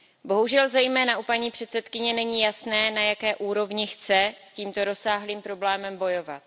Bohužel, zejména u paní předsedkyně není jasné, na jaké úrovni chce s tímto rozsáhlým problémem bojovat.